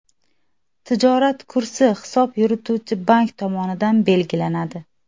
Tijorat kursi hisob yurituvchi bank tomonidan belgilanadi.